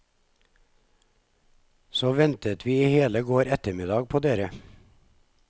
Så ventet vi i hele går ettermiddag på dere.